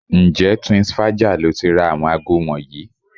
Ǹjẹ́ Twinsfaja lo ti ra àwọn aago wọ̀nyí?